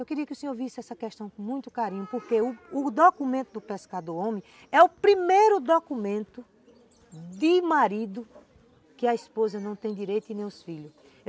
Eu queria que o senhor visse essa questão com muito carinho, porque o documento do pescador homem é o primeiro documento de marido que a esposa não tem direito e nem os filhos.